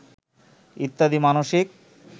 ইত্যাদি মানসিক